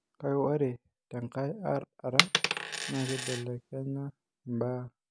Kake ore tenkae ara naa keibelekenya imbaa